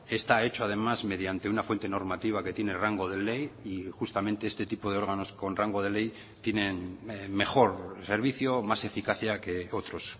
está hecho además mediante una fuente normativa que tiene rango de ley y justamente este tipo de órganos con rango de ley tienen mejor servicio o más eficacia que otros